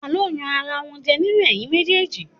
Ta ló yan ara wọn jẹ nínú ẹ̀yin méjèèjì?